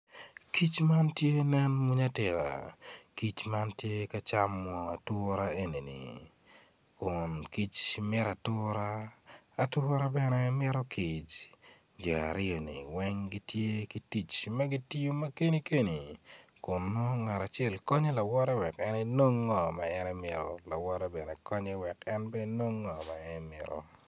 Kic man tye nen mwonya atika kic mantye ka camo ature eni kun kic mito atura atura bene mito kic jo aryoni weng gitye gitic ma gitiyo ma keni keni kun nongo ngat acel konyo lawote wek en enong ngo ma en emito lawote bene konye wek en enong ngo ma en emito